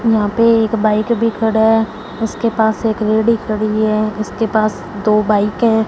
यहां पे एक बाइक भी खड़ा है उसके पास एक लेडी खड़ी है उसके पास दो बाईकें हैं।